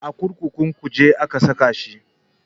A kurkukun kuje aka saka shi